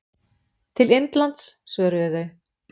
Til Indlands, svöruðu þau.